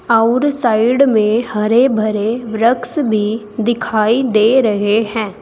और साइड में हरे भरे वृक्ष में दिखाई दे रहे हैं।